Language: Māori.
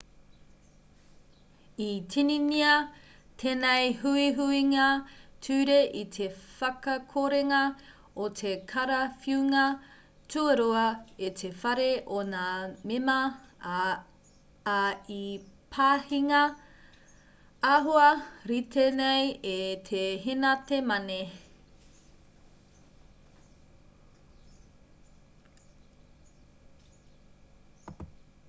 i tīningia tēnei huihuinga ture i te whakakorenga o te karawhiunga tuarua e te whare o ngā mema ā i pāhingia āhua rite nei e te henate mane